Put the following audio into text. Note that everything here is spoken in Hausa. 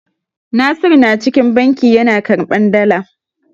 Nasiru na cikin banki yana karɓan dala.